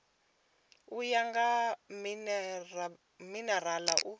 u ya nga minerala u